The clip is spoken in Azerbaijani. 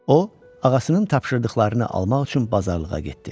O, ağasının tapşırdıqlarını almaq üçün bazarlığa getdi.